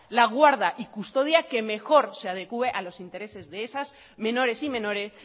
la guarda y custodia que mejor se adecue a los intereses